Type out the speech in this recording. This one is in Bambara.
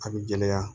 A bɛ gɛlɛya